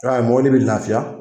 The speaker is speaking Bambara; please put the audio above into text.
I b'a ye mɔbili be lafiya